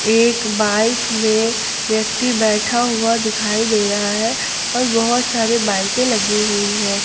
एक बाइक में व्यक्ति बैठा हुआ दिखाई दे रहा है और बहुत सारे बाईकें लगी हुई है।